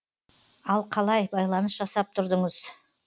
ал қалай байланыс жасап тұрдыңыз